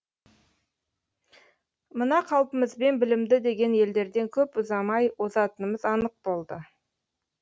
мына қалпымызбен білімді деген елдерден көп ұзамай озатынымыз анық болды